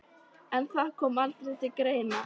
En það kom aldrei til greina.